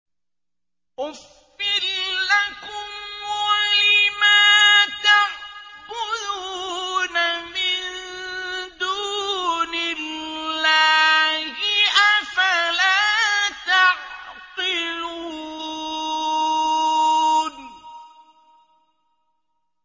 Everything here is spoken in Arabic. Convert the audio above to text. أُفٍّ لَّكُمْ وَلِمَا تَعْبُدُونَ مِن دُونِ اللَّهِ ۖ أَفَلَا تَعْقِلُونَ